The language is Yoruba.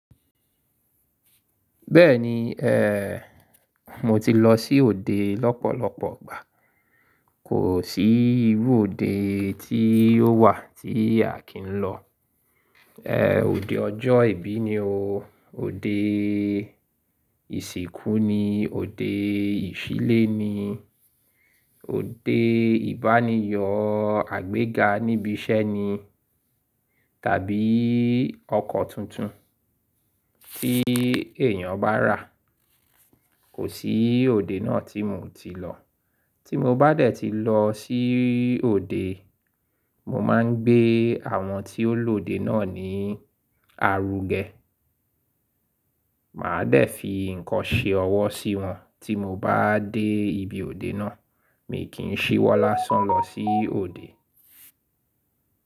Bẹ́ẹ̀ni ẹ́, mo ti lọ sí òde lọ́pọ̀lọpọ̀ igbà. Kò sí irú òde tí yóò wà tí Akin lọ. Ẹ́ òde ọjọ́ ìbí ni o, òde ìsìnkú ni, òde ìṣílé ni, òde ìbániyo àgbéga níbi iṣẹ́ ni tàbí ọkọ̀ tuntun tí èèyàn bá rà. Kò sí òde náà tí mo ti lọ. Tí mo bá dẹ̀ ti lọ sí òde, mo máa ń gbé àwọn tí ó lòde náà ní àrúgẹ. Màá dẹ̀ fi nǹkan ṣe ọwọ́ sí wọn tí mo bá dé ibi òde náà. Èmi kì í ṣíwọ́ lásán lọ sí òde.